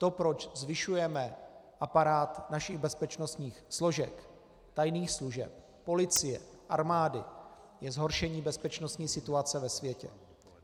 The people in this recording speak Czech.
To, proč zvyšujeme aparát našich bezpečnostních složek, tajných služeb, policie, armády, je zhoršení bezpečnostní situace ve světě.